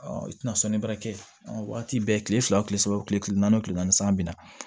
i tɛna sɔnni bara kɛ waati bɛɛ kile fila o kile saba o kile naani o kile naani san bi na